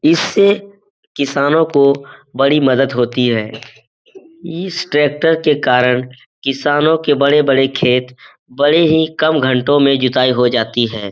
इससे किसानों को बड़ी मदद होती है। इस ट्रैक्टर के कारण किसानों के बड़े-बड़े खेत बड़े ही कम घंटो में जुताई हो जाती है।